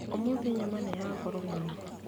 Ũmũthĩ nyama nĩ ya goro mũno.